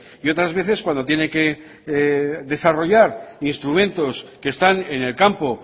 y otras veces cuando tiene que desarrollar instrumentos que están en el campo